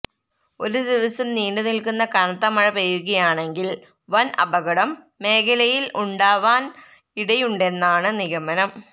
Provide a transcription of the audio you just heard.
ഒരു ദിവസം നീണ്ടു നില്ക്കുന്ന കനത്ത മഴ പെയ്യുകയാണെങ്കില് വന് അപകടം മേഖലയില് ഉണ്ടാവാന് ഇടയുണ്ടെന്നാണ് നിഗമനം